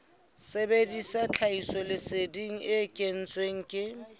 sebedisa tlhahisoleseding e kentsweng ke